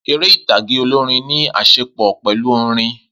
Eré ìtàgé olórin ní àṣepọ̀ pẹ̀lú orin